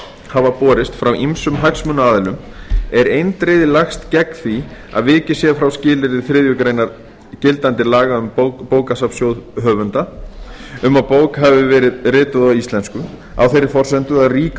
hafa borist frá ýmsum hagsmunaaðilum er eindregið lagst gegn því að vikið sé frá skilyrði þriðju grein gildandi laga um bókasafnssjóð höfunda um að bók hafi verið rituð á íslensku á þeirri forsendu að rík